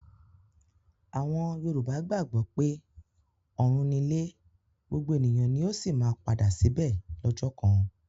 Àwọn Yorùbá gbàgbọ́ pé ọ̀run nílé gbogbo ènìyàn ni ó sì máa padà síbẹ̀ lọ́jọ́ kan.